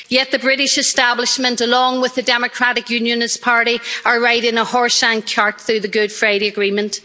Yet the British establishment, along with the Democratic Unionist Party, are riding a horse and cart through the Good Friday Agreement.